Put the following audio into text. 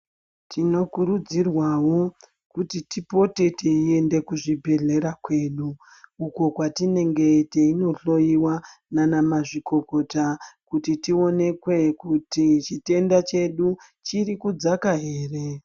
Tinokurudzirwawo kuti tipote teienda kuzvibhehlera kwedu uko kwatinenge teinohloyiwa nanamazvikokota kuti tionekwe kuti chitenda chedu chiri kudzaka ere